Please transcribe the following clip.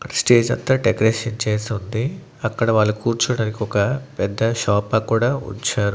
Stage అంతా decoration చేసి ఉంది అక్కడ వాళ్ళు కూర్చోవడానికి ఒక పెద్ద సోఫా కూడా ఉంచారు.